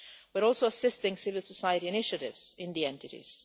We are also assisting civil society initiatives in the entities.